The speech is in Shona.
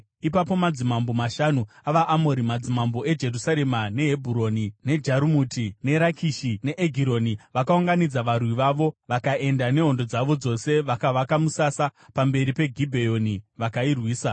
Ipapo madzimambo mashanu avaAmori, madzimambo eJerusarema, neHebhuroni, neJarumuti, neRakishi neEgironi, vakaunganidza varwi vavo. Vakaenda nehondo dzavo dzose vakavaka musasa pamberi peGibheoni, vakairwisa.